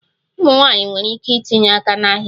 Ụmụ nwanyị nwere ike itinye aka n'ahịa